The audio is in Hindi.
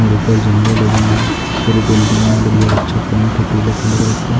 और उप्पर झंडे लगे हैं पूरे बिल्डिंग में बढ़िया अच्छा पेंट है पीला पीला कलर का।